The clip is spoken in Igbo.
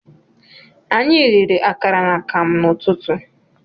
Anyị riri akara na akamụ n'ụtụtụ